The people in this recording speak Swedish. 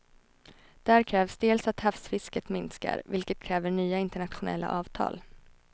Där krävs dels att havsfisket minskar, vilket kräver nya internationella avtal.